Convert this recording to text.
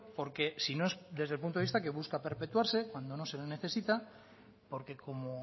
porque si no es desde el punto de vista que busca perpetuarse cuando no se le necesita porque como